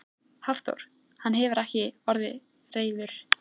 Hafþór: Hann hefur ekki orðið reiður?